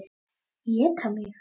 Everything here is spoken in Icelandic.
Éta mig.